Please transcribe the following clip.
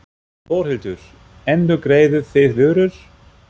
Þórhildur: Endurgreiðið þið vörur?